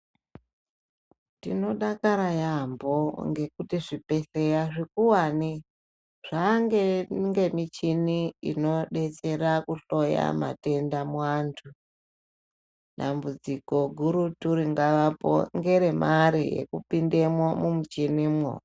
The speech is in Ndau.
Tinodakara yambo ngekuti zvibhedhleya zvikuwane zvange ngemichini inodetsera kuhloya matenda muantu , dambudziko guru ritori ngavapo ngeremare yekupindemo mumuchinimwo.